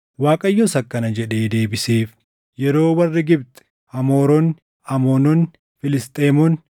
Waaqayyos akkana jedhee deebiseef; “Yeroo warri Gibxi, Amooronni, Amoononni, Filisxeemonni,